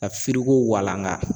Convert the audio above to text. Ka firiko walanka.